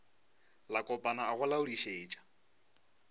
la kopana a go laodišetša